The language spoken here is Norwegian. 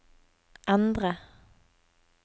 endre